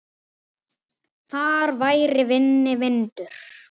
Þar væri minni vindur.